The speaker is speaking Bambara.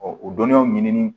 o dɔnniyaw ɲinini